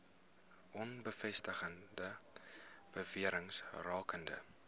onbevestigde bewerings rakende